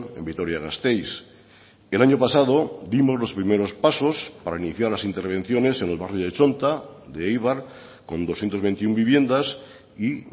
en vitoria gasteiz el año pasado dimos los primeros pasos para iniciar las intervenciones en el barrio de txonta de eibar con doscientos veintiuno viviendas y